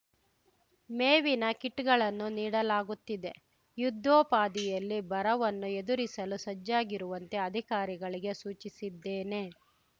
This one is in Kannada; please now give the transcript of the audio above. ಮೇವಿನ ಕಿಟ್‌ಗಳನ್ನು ನೀಡಲಾಗುತ್ತಿದೆ ಯುದ್ಧೋಪಾದಿಯಲ್ಲಿ ಬರವನ್ನು ಎದುರಿಸಲು ಸಜ್ಜಾಗಿರುವಂತೆ ಅಧಿಕಾರಿಗಳಿಗೆ ಸೂಚಿಸಿದ್ದೇನೆ